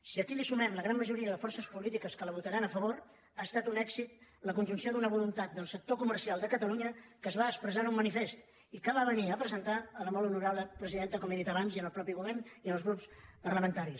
si aquí hi sumem la gran majoria de forces polítiques que la votaran a favor ha estat un èxit la conjunció d’una voluntat del sector comercial de catalunya que es va expressar en un manifest i que es va venir a presentar a la molt honorable presidenta com he dit abans al mateix govern i als grups parlamentaris